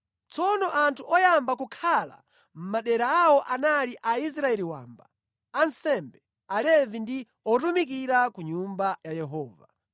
Tsono anthu oyamba kukhala mʼmadera awo anali Aisraeli wamba, ansembe, Alevi ndi otumikira ku Nyumba ya Yehova.